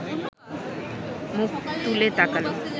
মুখ তুলে তাকাল